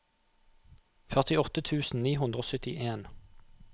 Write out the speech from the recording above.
førtiåtte tusen ni hundre og syttien